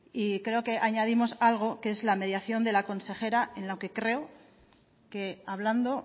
y creo que añadimos algo que es la mediación de la consejera en lo que creo que hablando